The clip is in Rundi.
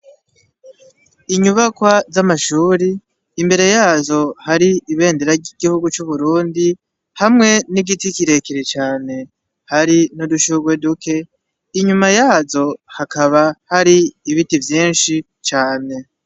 Inyubakwa z'amashure imbere yazo har'ibendera ry'igihugu c'uburundi, hamwe n'igiti kirekire cane hari n'udushurwe duke ,inyuma yazo hakaba hari ibiti vyinshi cane.